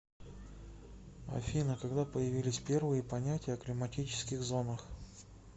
афина когда появились первые понятия о климатических зонах